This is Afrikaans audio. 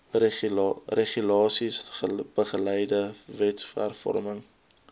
regulasies beleide wetshervorming